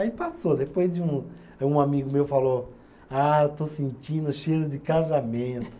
Aí passou, depois de um, um amigo meu falou, ah, eu estou sentindo cheiro de casamento.